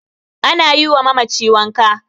ana yiwa mamaci wanka